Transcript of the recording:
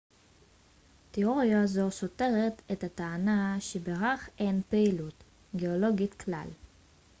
תיאוריה זו סותרת את הטענה שבירח אין פעילות גאולוגית כלל